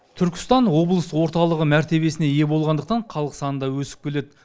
түркістан облыс орталығы мәртебесіне ие болғандықтан халық саны да өсіп келеді